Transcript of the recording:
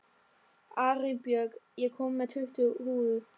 Arinbjörg, ég kom með tuttugu húfur!